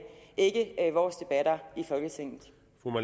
ikke vores debatter i folketinget